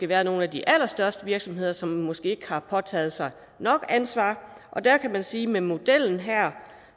været nogle af de allerstørste virksomheder som måske ikke har påtaget sig nok ansvar og der kan man sige med modellen her